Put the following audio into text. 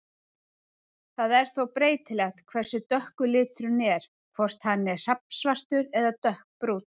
Það er þó breytilegt hversu dökkur liturinn er, hvort hann er hrafnsvartur eða dökkbrúnn.